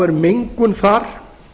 er mengun þar